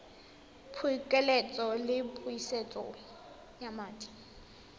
phokoletso le pusetso ya madi